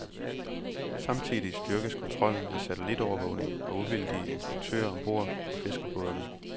Samtidig styrkes kontrollen med satellitovervågning og uvildige inspektører om bord på fiskerbådene.